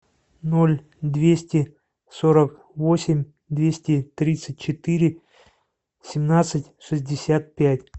ноль двести сорок восемь двести тридцать четыре семнадцать шестьдесят пять